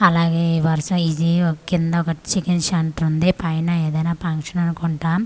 అలాగే ఈ వర్స ఇదీ కింద ఒక చికెన్ సెంటర్ ఉంది పైన ఏదైనా పాన్షన్ అనుకుంటా అది--